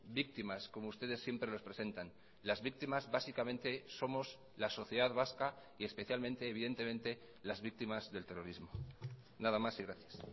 víctimas como ustedes siempre los presentan las víctimas básicamente somos la sociedad vasca y especialmente evidentemente las víctimas del terrorismo nada más y gracias